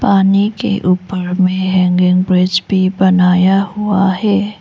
पानी के ऊपर में हैंगिंग ब्रिज भी बनाया हुआ है।